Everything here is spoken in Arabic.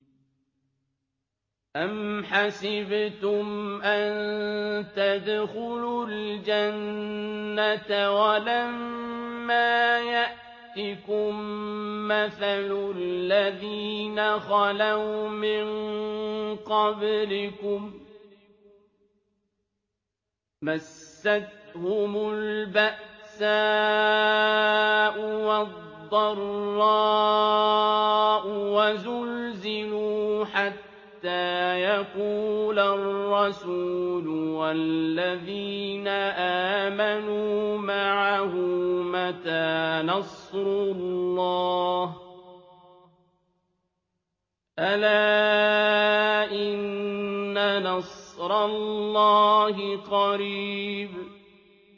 أَمْ حَسِبْتُمْ أَن تَدْخُلُوا الْجَنَّةَ وَلَمَّا يَأْتِكُم مَّثَلُ الَّذِينَ خَلَوْا مِن قَبْلِكُم ۖ مَّسَّتْهُمُ الْبَأْسَاءُ وَالضَّرَّاءُ وَزُلْزِلُوا حَتَّىٰ يَقُولَ الرَّسُولُ وَالَّذِينَ آمَنُوا مَعَهُ مَتَىٰ نَصْرُ اللَّهِ ۗ أَلَا إِنَّ نَصْرَ اللَّهِ قَرِيبٌ